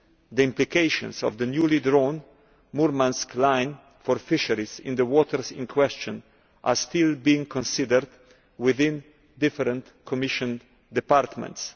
The implications of the newly drawn Murmansk Line' for fisheries in the waters in question are still being considered within different Commission departments.